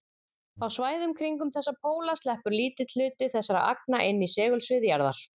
Á svæðum kringum þessa póla sleppur lítill hluti þessara agna inn í segulsvið jarðar.